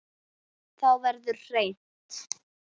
Og þá verður hreint.